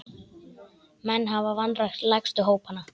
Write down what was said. Menn hafa vanrækt lægstu hópana.